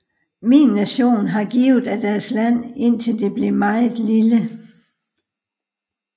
Min nation har givet af deres land indtil det blev meget lille